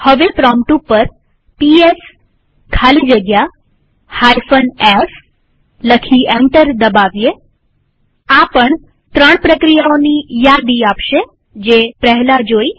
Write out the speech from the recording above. હવે પ્રોમ્પ્ટ ઉપર પીએસ ખાલી જગ્યા f લખી એન્ટર દબાવીએઆ પણ ત્રણ પ્રક્રિયાઓની યાદી આપશે જે પહેલા જોઈ